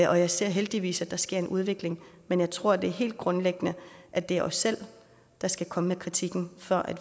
og jeg ser heldigvis at der sker en udvikling men jeg tror at det er helt grundlæggende at det er os selv der skal komme med kritikken før